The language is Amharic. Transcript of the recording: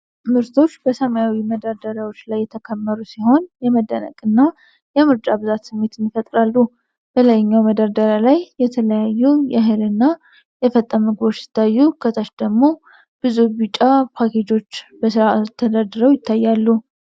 ምርቶች በሰማያዊ የመደርደሪያዎች ላይ የተከመሩ ሲሆን፣ የመደነቅን እና የምርጫ ብዛትን ስሜት ይፈጥራሉ። በላይኛው መደርደሪያ ላይ የተለያዩ የእህልና የፈጣን ምግቦች ሲታዩ፣ ከታች ደግሞ ብዙ ቢጫ ፓኬጆች በሥርዓት ተደርድረው ይታያሉ።